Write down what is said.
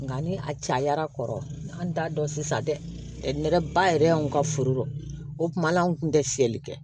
Nka ni a cayara kɔrɔ an t'a dɔn sisan dɛ nɛrɛba yɛrɛ y'anw ka foro la o tuma na an tun tɛ fiyɛli kɛ